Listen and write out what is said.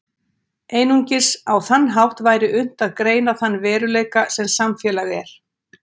Einungis á þann hátt væri unnt að greina þann veruleika sem samfélag er.